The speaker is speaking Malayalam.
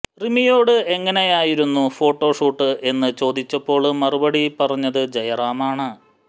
റിമിയോട് എങ്ങനെയിരുന്നു ഫോട്ടോ ഷൂട്ട് എന്ന് ചോദിച്ചപ്പോള് മറുപടി പറഞ്ഞത് ജയറാമാണ്